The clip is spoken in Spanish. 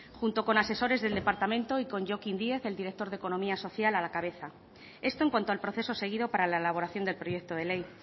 junto con asesores del departamento y con jokin díez el director de economía social a la cabeza esto en cuanto al proceso seguido para la elaboración del proyecto de ley